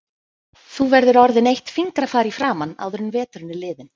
Þú verður orðin eitt fingrafar í framan áður en veturinn er liðinn